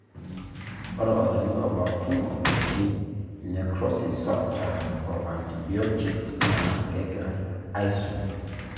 ore olchani obak tumor oji necrosis factor o antibiotuc na kengirae aisum.